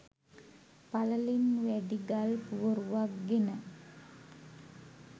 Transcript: පළලින් වැඩි ගල් පුවරුවක් ගෙන